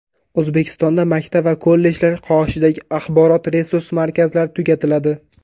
O‘zbekistonda maktab va kollejlar qoshidagi axborot-resurs markazlari tugatiladi.